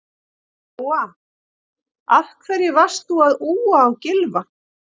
Lóa: Af hverju varst þú að úa á Gylfa?